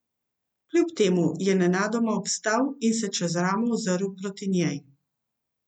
Kljub temu je nenadoma obstal in se čez ramo ozrl proti njej.